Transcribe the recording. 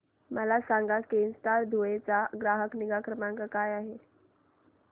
मला सांगाना केनस्टार धुळे चा ग्राहक निगा क्रमांक काय आहे